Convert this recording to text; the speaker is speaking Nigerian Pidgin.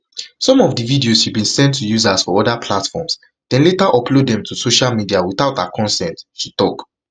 some of the videos she bin send to users for oda platforms dem later upload dem to social media witout her consent she tok